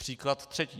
Příklad třetí.